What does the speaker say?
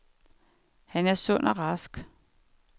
Han er sund og rask.